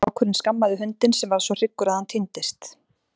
Strákurinn skammaði hundinn sem varð svo hryggur að hann týndist.